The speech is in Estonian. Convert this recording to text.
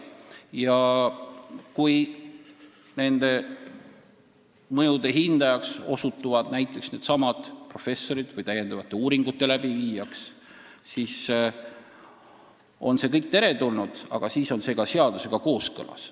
Ja kui nende mõjude hindajaks või täiendavate uuringute läbiviijaks osutuvad näiteks needsamad professorid, siis on see kõik teretulnud, aga siis on see ka seadusega kooskõlas.